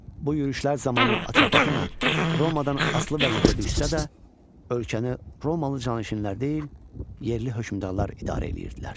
Bu yürüşlər zamanı Atropatena Romadan asılı vəziyyətə düşsə də, ölkəni romalı canişinlər deyil, yerli hökmdarlar idarə edirdilər.